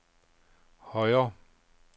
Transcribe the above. højre